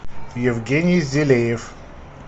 евгений зелеев